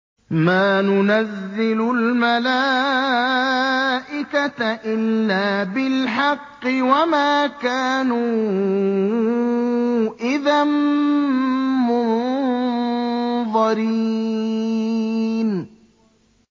مَا نُنَزِّلُ الْمَلَائِكَةَ إِلَّا بِالْحَقِّ وَمَا كَانُوا إِذًا مُّنظَرِينَ